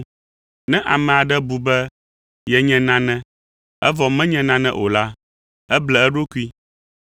Ne ame aɖe bu be yenye nane, evɔ menye naneke o la, eble eɖokui.